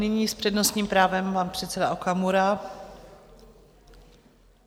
Nyní s přednostním právem pan předseda Okamura.